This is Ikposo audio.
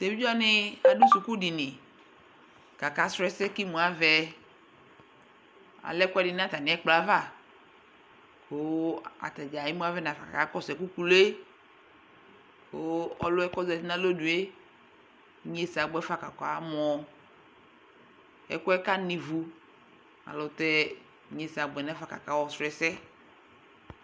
teʋɩ wanɩ adu suku dɩnɩ ku aka su ɛsɛ ku emu avɛ alɛ ɛkuɛsɩ nu atami akplɔ yɛ aʋa ku atanɩ emu avɛnafa ku akakɔsu ɛku kulue olu yɛ ku ozetɩ nu alonue ɩnyesɛ abuɛfa ku amɔ ɛkuɛ kana ɩʋu ayɛlutɛ ɩnyesɛ abuɛ nafa ku aka su ɛsɛ